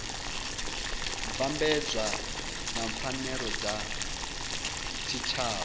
vhambedzwa na pfanelo dza tshitshavha